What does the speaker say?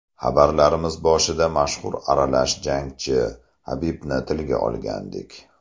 Xabarlarimiz boshida mashhur aralash jangchi Habibni tilga olgandik.